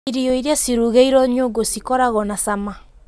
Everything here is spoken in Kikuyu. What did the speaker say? Irio iria cirugĩirwo nyũngũcikoragwo na cama